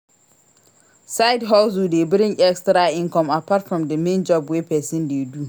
Side-hustle de bring etra income apart from the main job wey persin de do